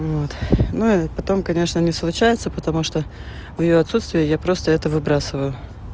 вот ну и потом конечно не случается потому что в её отсутствие я просто это выбрасываю